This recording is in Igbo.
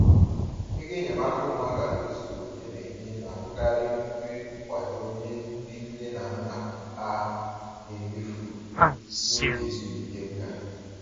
Ego enyemaka ụmụaka tozuru oke na-enye na-abụkarị nnukwu nkwado nye ndị nne na nna ha na-emefu n’oge ezumike nka.